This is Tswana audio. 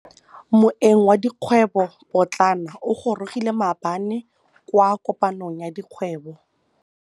Moêng wa dikgwêbô pôtlana o gorogile maabane kwa kopanong ya dikgwêbô.